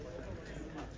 Bu da belə də.